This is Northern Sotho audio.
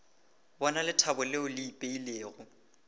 bona lethabo leo le ipeilego